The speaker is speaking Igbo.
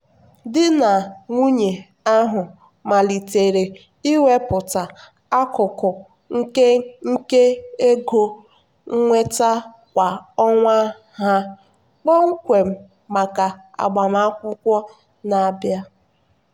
di na nwunye ahụ malitere iwepụta akụkụ nke nke ego nnweta kwa ọnwa ha kpọmkwem maka agbamakwụkwọ na-abịa.